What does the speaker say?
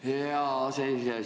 Tänan, hea aseesimees!